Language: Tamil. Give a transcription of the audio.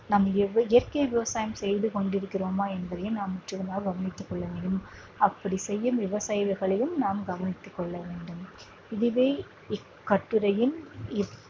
நாம் இய இயற்கை விவசாயம் செய்து கொண்டு இருக்கிறோமா என்பதையும் நாம் முற்றிலுமாக கவனித்துக் கொள்ள வேண்டும் அப்படி செய்யும் விவசாயிகளையும் நாம் கவனித்துக் கொள்ளவேண்டும் இதுவே இக்கட்டுரையின்